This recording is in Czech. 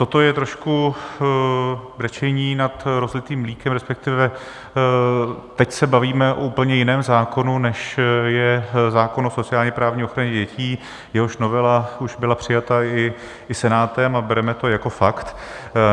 Toto je trošku brečení nad rozlitým mlékem, respektive teď se bavíme o úplně jiném zákonu, než je zákon o sociálně-právní ochraně dětí, jehož novela už byla přijata i Senátem, a bereme to jako fakt.